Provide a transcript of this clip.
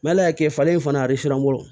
N ma ala kɛ falen in fana a bɛ suwa